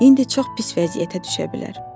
İndi çox pis vəziyyətə düşə bilər.